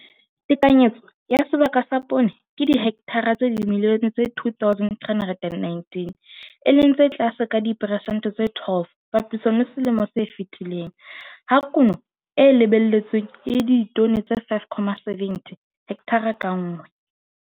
Tekanyetso ya sebaka sa poone ke dihekthara tsa dimilione tse 2, 319, e leng tse tlase ka diperesente tse 12 papisong le selemong se fetileng, ha kuno e lebelletsweng e le ditone tse 5, 70 hekthara ka nngwe.